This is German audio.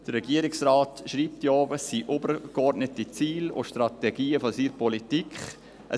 Der Regierungsrat schreibt auch, dass es übergeordnete Ziele und Strategien seiner Politik seien.